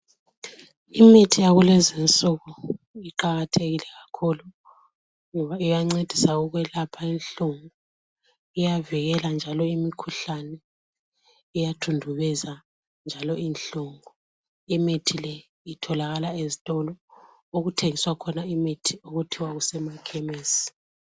Imithi yakulezi nsuku iqakathekile kakhulu ngoba iyancedisa ukwelapha inhlungu ,iyavikela njalo imikhuhlane . Iyathundubeza njalo inhlungu .Imithi le itholakala ezitolo okuthengiswa khona imithi okuthiwa kusemakhemesi.